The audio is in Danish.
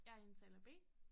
Jeg er indtaler B